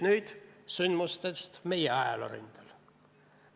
Nüüd sündmustest meie ajaloo rindel.